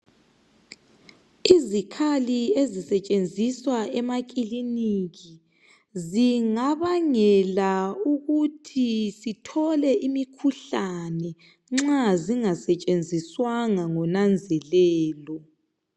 izikhali ezisetshenziswa emakiliniki zingabangela ukuthi sithole imikhuhlane nxa zingasetshenziswanga ngo nanzelelo